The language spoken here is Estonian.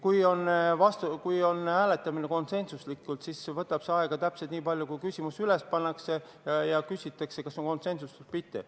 Kui on konsensuslik hääletamine, siis see võtab aega täpselt nii palju, et küsimus pannakse hääletusele ja küsitakse, kas on konsensus või mitte.